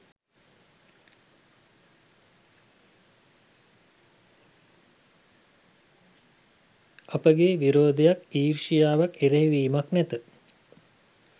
අපගේ විරෝධයක්, ඊර්ෂ්‍යාවක්, එරෙහිවීමක් නැත.